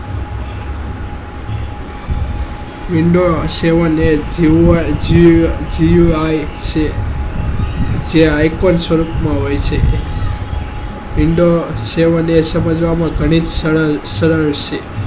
window seven eight user તે icon સરસ હોય છે window સેવન સમજ માં બહુ સોપા છે